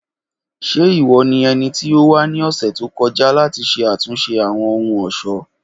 Ṣe iwọ ni ẹniti o wa ni ọsẹ to kọja lati ṣe atunṣe Awọn ohun-ọṣọ?